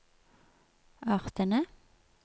artene